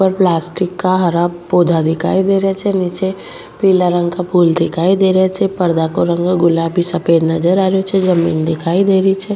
ऊपर प्लास्टिक का हरा पौधा दिखाई दे रहिया छे नीचे पीला रंग का फूल दिखाई दे रिया छे पर्दा को रंग गुलाबी सफ़ेद नजर आ रियो छे जमीन दिखाई दे रही छे।